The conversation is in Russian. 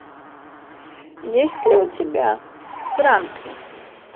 есть ли у тебя франклин